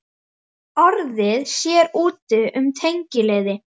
. orðið sér úti um tengiliði.